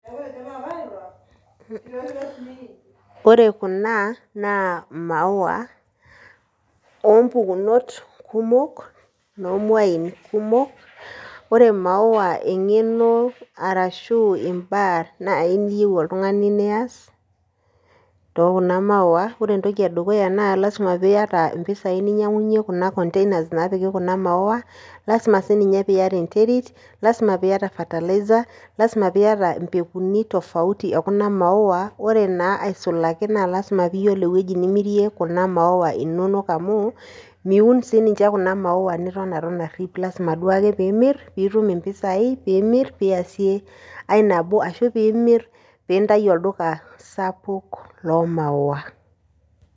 Ore kuna naa imawua ompukunot kumok , noo mwain kumok . Ore imauwa engeno arashu imbaa naji niyieu oltungani nias too kuna maua naa ore entoki edukuya naa lasima piata impisai ninyiangunyie kuna containers napiki kuna maua , lasima sininye piata enterit , lasima sininye piata fertilizer, lasima piata impekuni tofauti ekuna maua . Ore naa aisulaki naa lasima piata ewueji nimirie kuna maua inonok amu miun sininche kuna, maua niton aton arip , lasima duake pimir pitum impisai, pimir piasie ae nabo ashu pimir pintayu olduka sapuk loo maua.